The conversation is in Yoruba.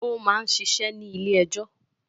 Ó máa ń ṣiṣẹ́ ní ilé-ẹjọ́.